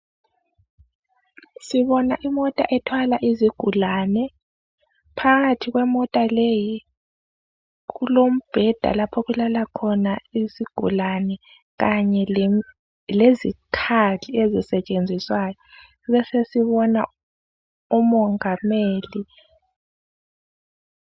Sibona imota ethwala izigulane, phakathi kwemota leyi kulombheda lapho okulala khona izigulane kanye lezikhali ezisetshenziswayo. Besesibona umongikazi.